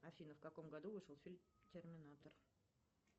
афина в каком году вышел фильм терминатор